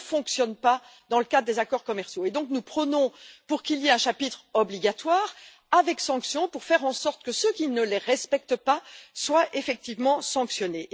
Il ne fonctionne pas dans le cadre des accords commerciaux et donc nous prônons l'introduction d'un chapitre obligatoire assorti de sanctions pour faire en sorte que ceux qui ne les respectent pas soient effectivement sanctionnés.